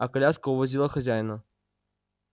а коляска увозила хозяина